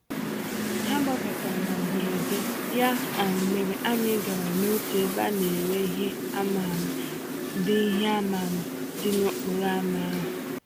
Ha gbabatara na mberede, ya um mere anyị gara n'otu ebe a nere ìhè ama-ama, dị ìhè ama-ama, dị n'okporo ámá ahụ.